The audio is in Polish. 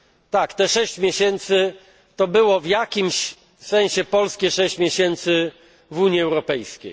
Tak, te 6 miesięcy to było w jakimś sensie polskie 6 miesięcy w Unii Europejskiej.